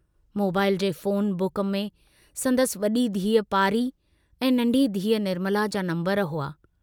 Mobile जे phone book में संदसि वडी धीअ पारी ऐं नन्ढी धीअ निर्मला जा नम्बर हुआ।